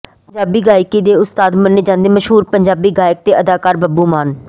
ਪੰਜਾਬੀ ਗਾਇਕੀ ਦੇ ਉਸਤਾਦ ਮੰਨੇ ਜਾਂਦੇ ਮਸ਼ਹੂਰ ਪੰਜਾਬੀ ਗਾਇਕ ਤੇ ਅਦਾਕਾਰ ਬੱਬੂ ਮਾਨ